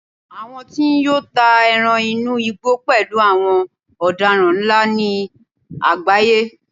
àwọn tí n yọ́ ta eran inú igbó pẹlú àwọn odaran nla ni agbaye